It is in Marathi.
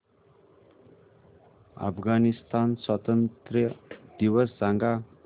अफगाणिस्तान स्वातंत्र्य दिवस सांगा